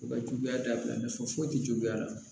U ka juguya dabila foyi ti juguya la